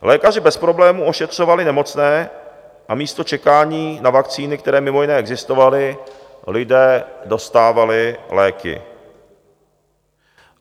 Lékaři bez problémů ošetřovali nemocné a místo čekání na vakcíny, které mimo jiné existovaly, lidé dostávali léky.